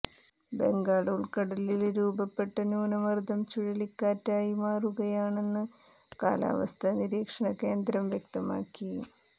ബംഗാള് ഉള്ക്കടലില് രൂപപ്പെട്ട ന്യൂനര്ദം ചുഴലിക്കാറ്റ് ആയി മാറുകയാണെന്ന് കാലാവസ്ഥ നിരീക്ഷണകേന്ദ്രം വ്യക്തമാക്കി